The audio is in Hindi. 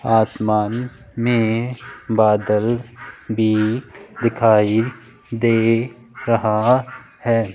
आसमान में बादल भी दिखाई दे रहा है।